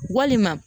Walima